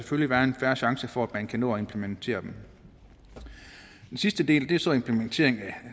være en fair chance for at man kan nå at implementere dem den sidste del er så implementeringen